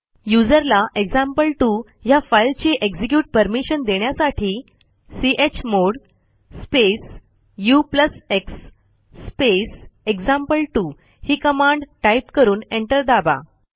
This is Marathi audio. यूझर ला एक्झाम्पल2 ह्या फाईलची एक्झिक्युट परमिशन देण्यासाठी chmod space ux space example two ही कमांड टाईप करून एंटर दाबा